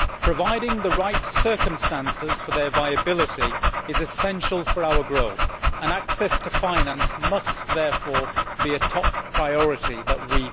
Providing the right circumstances for their viability is essential for our growth, and access to finance must therefore be a top priority for us.